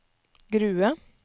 Grue